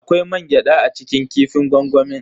Akwai mangyada a cikin kifin gwangwami.